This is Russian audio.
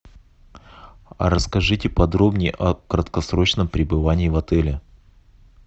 расскажите подробнее о краткосрочном пребывании в отеле